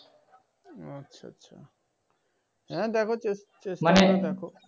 ও আচ্ছা আচ্ছা । হ্যাঁ দেখ চেস চেষ্টা করে দেখ।